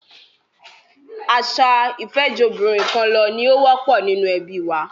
Àṣà ìfẹ́jobìnrinkanlọ ni ó wọ́pọ̀ nínú ẹbí wa.